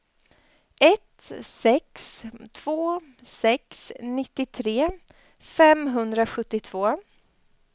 ett sex två sex nittiotre femhundrasjuttiotvå